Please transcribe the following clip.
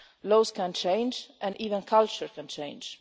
Laws can change and even culture can change.